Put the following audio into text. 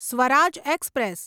Swaraj express